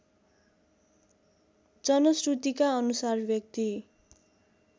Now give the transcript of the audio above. जनश्रुतिका अनुसार व्‍यक्ति